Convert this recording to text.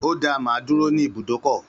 Ó dáa, mà á dúró ní ibùdókọ̀